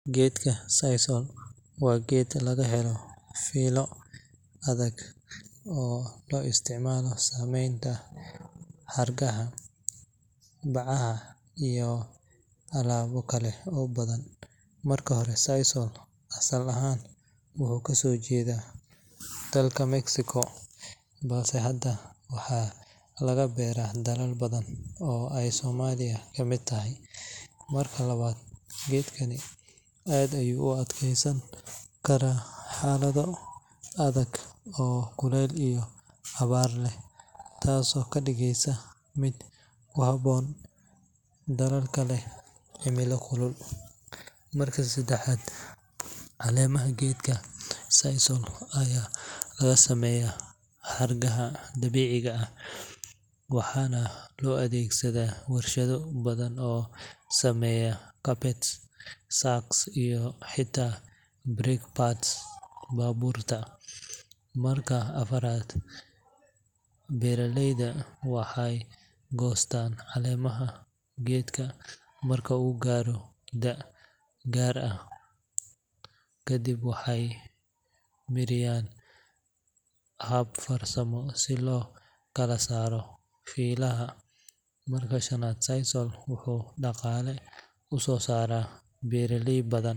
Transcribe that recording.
Geedka sisal waa geed laga helo fiilo adag oo loo isticmaalo samaynta xargaha, bacaha iyo alaabo kale oo badan. Marka hore, sisal asal ahaan wuxuu ka soo jeedaa dalka Mexico, balse hadda waxaa laga beeraa dalal badan oo ay Soomaaliya ka mid tahay. Marka labaad, geedkani aad ayuu u adkaysan karaa xaalado adag oo kulayl iyo abaar leh, taasoo ka dhigaysa mid ku habboon dalalka leh cimilo kulul. Marka saddexaad, caleemaha geedka sisal ayaa laga sameeyaa xargaha dabiiciga ah, waxaana loo adeegsadaa warshado badan oo samaysa carpets, sacks, iyo xitaa brake pads baabuurta. Marka afaraad, beeralayda waxay goostaan caleemaha geedka marka uu gaaro da’ gaar ah, kadibna waxay mariyaan hab farsamo si loo kala saaro fiilaha. Marka shanaad, sisal wuxuu dhaqaale u soo saaraa beeraley badan.